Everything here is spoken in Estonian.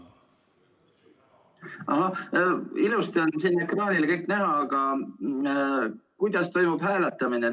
Ilusti on siin ekraanil kõik näha, aga kuidas toimub hääletamine?